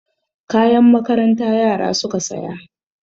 Kayan makaranta yara suka saya.